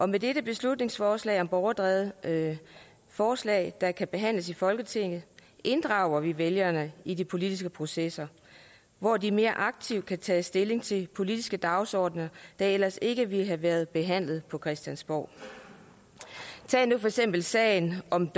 med dette beslutningsforslag om borgerdrevne forslag der kan behandles i folketinget inddrager vi vælgerne i de politiske processer hvor de mere aktivt kan tage stilling til politiske dagsordener der ellers ikke ville have været behandlet på christiansborg tag nu for eksempel sagen om